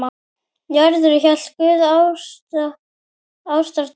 Njörður hét guð í ásatrú.